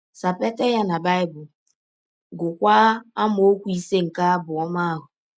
Sapeta ya na Bible, gụọkwa amaọkwu ise nke abụ ọma ahụ.